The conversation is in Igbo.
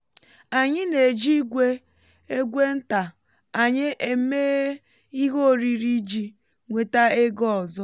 anyị na-eji igwe egwe nta anyị eme ihe oriri iji um nweta ego ọzọ